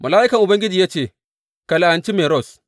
Mala’ikan Ubangiji ya ce, Ka la’anci Meroz.’